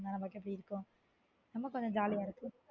பின்னால இருக்கும் நம்ம கொஞ்சம் ஜாலியா இருக்கு